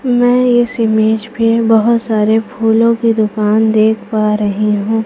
मैं इस इमेज पे बहोत सारे फूलों की दुकान देख पा रही हूं।